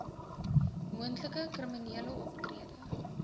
moontlike kriminele optrede